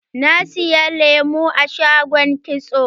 Na saya lemu a shagon kitso.